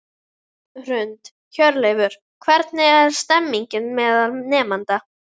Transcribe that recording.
Hrund: Hjörleifur, hvernig er stemningin meðal nemenda?